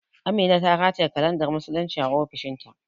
Amina ta rataye kalandar musulunci a ofishin ta